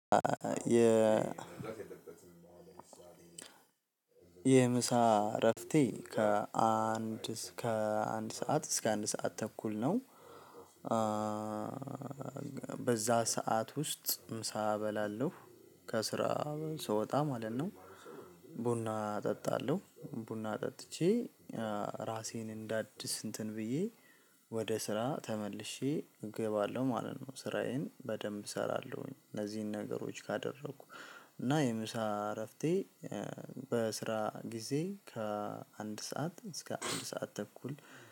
የ የምሳ እረፍቴ ከአንድ ከአንድ ሰዓት እስከ አንድ ሰዓት ተኩል ነው በዛ ሰዓት ውስጥ ምሳ እበላለሁ፣ ከስራ ስወጣ ማለት ነው። ቡና እጠጣለሁ፣ ቡና ጠጥቼ ራሴን እንዳድስ እንትን ብዬ ወደ ስራ ተመልሼ እገባለሁ ማለት ነው። ስራዬን በደንብ እሰራለሁኝ ለዚህን ነገሮች ካደረኩ እና የምሳ እረፍቴ በስራ ጊዜ ከአንድ ሰዓት እስከ አንድ ሰዓት ተኩል